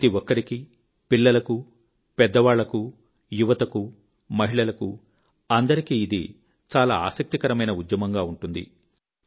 ప్రతి ఒక్కరికీ పిల్లలకు పెద్దవాళ్ళకు యువతకు మహిళలకు అందరికీ ఇది చాలా ఆసక్తికరమైన ఉద్యమంగా ఉంటుంది